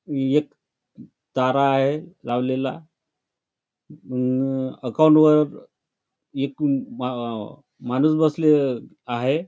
एक तारा आहे लावलेला अम अकाउंटवर एक म अ माणूस बसले आहे.